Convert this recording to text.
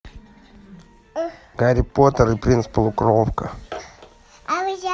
гарри поттер и принц полукровка